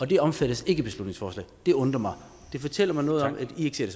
det omfattes ikke af beslutningsforslaget og det undrer mig og det fortæller mig noget om at i ikke ser